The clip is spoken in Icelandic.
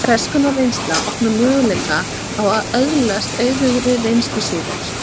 Hvers konar reynsla opnar möguleikana á að öðlast auðugri reynslu síðar?